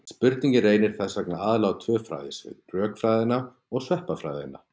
Spurningin reynir þess vegna aðallega á tvö fræðasvið: rökfræðina og sveppafræðina.